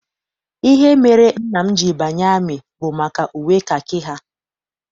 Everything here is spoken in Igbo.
Ihe mere nna m ji banye amị bụ maka uwe kakị ha.